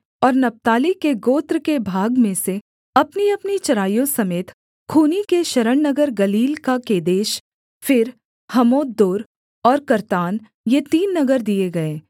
और नप्ताली के गोत्र के भाग में से अपनीअपनी चराइयों समेत खूनी के शरणनगर गलील का केदेश फिर हम्मोतदोर और कर्तान ये तीन नगर दिए गए